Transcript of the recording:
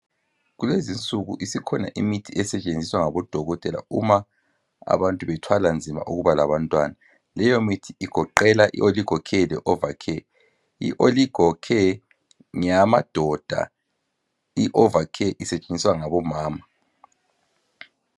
Kulezinsuku isikhona imithi esetshenziswa ngabo dokotela uma abantu bethwala nzima ukuba labantwana .Leyo mithi igoqela I oligocare le ova care .I oligo care ngeyamadoda i ova care isetshenziswa ngabomama .